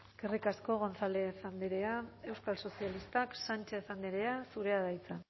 eskerrik asko gonzález andrea euskal sozialistak sánchez andrea zurea da hitza